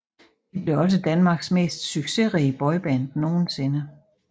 De blev også Danmarks mest succesrige boyband nogensinde